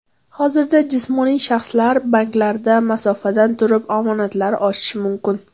Hozirda jismoniy shaxslar banklarda masofadan turib omonatlar ochishi mumkin.